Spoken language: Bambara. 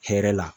Hɛrɛ la